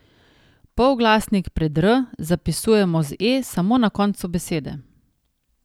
Polglasnik pred r zapisujemo z e samo na koncu besede.